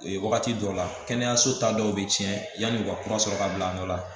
Wagati dɔw la kɛnɛyaso ta dɔw bɛ tiɲɛ yanni u ka kura sɔrɔ ka bila an dɔ la